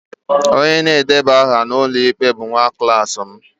Onye na-edeba aha n'ụlọikpe bụ nwa klas m